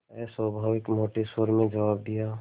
अस्वाभाविक मोटे स्वर में जवाब दिया